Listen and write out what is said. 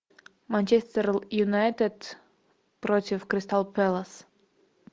манчестер юнайтед против кристал пэлас